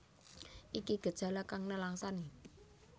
Iki gejala kang nelangsani